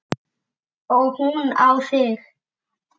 Og hún á þig.